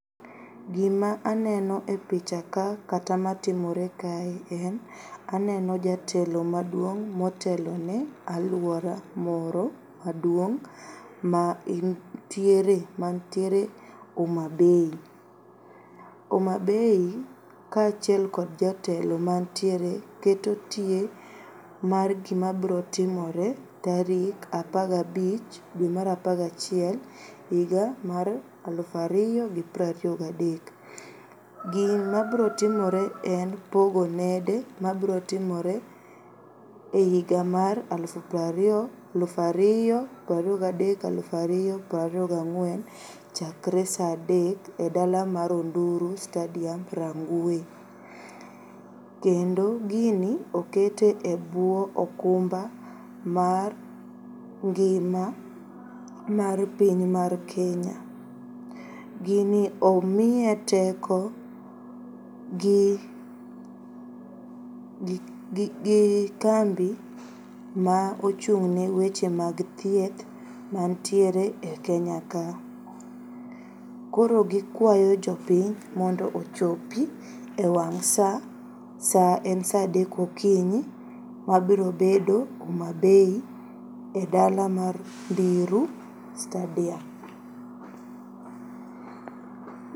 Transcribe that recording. Gima aneno e picha ka kata matimore kae en aneno jatelo maduong' motelone aluora moro maduong' mantiere Homabay. Homabay kachiel kod jatelo mantiere keto tie mar gima bro timore tarik apagabich due mar apagachiel iga mar aluf ariyo gi prariyo gadek. Gima brotimore en pogo nede mabrotimore eiga mar aluf prariyo aluf ariyo prariyo gadek aluf ariyo prariyo ga ng'uen chakre saa adek e dala mar Onduru stadium, Rangwe. Kendo gini okete ebuo okumba mar ngima mar piny mar Kenya. Gini omiye teko gi, gi, gi kambi ma ochung'ne weche mag thieth mantiere e Kenya ka. Koro gikwayo jopiny mondo ochopi ewang' saa. Saa en saa adek okinyi mabrobedo Homabay e dala mar Ndiru stadium.